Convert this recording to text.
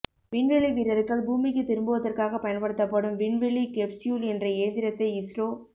விண்வெளி வீரர்கள் பூமிக்கு திரும்புவதற்காக பயன்படுத்தப்படும் விண்வெளி கெப்ஸ்யூல் என்ற இயந்திரத்தை இஸ்ரோ